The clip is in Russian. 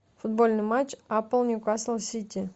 футбольный матч апл ньюкасл сити